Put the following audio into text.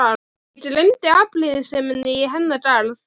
Ég gleymdi afbrýðiseminni í hennar garð.